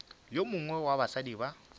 yo mongwe wa basadi ba